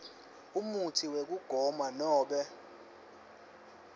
umutsi wekugoma nobe